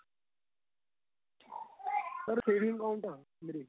sir saving account ਆਂ ਮੇਰੇ